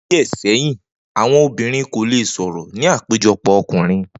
Ni o̩dún díè̩ sé̩yìn, àwo̩n obìnrin kò lè sò̩rò̩ ní àpéjo̩pò̩ o̩kùnrin